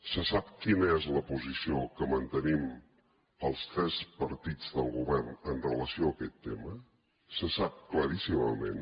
se sap quina és la posició que mantenim els tres partits del govern amb relació a aquest tema se sap claríssimament